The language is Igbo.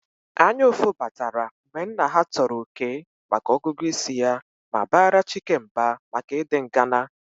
Anyaụfụ batara mgbe nna ha tọrọ Okey maka ọgụgụ isi ya ma bara Chike mba maka ịdị ngana